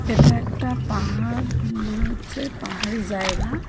এটা একটা পাহাড় মনে হচ্ছে পাহাড়ি জায়গা।